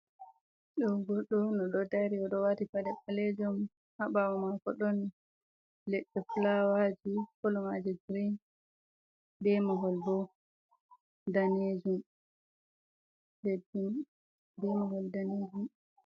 Do goddo 'on odo dari odo wati pade balejum habawo mako don ledde flawaji polmaji grain demahol bo danejum.